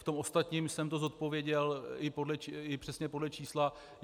V tom ostatním jsem to zodpověděl i přesně podle čísla.